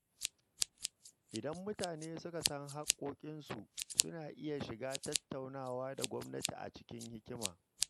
Idan mutane suka san haƙƙoƙinsu, suna iya shiga tattaunawa da gwamnati cikin hikima.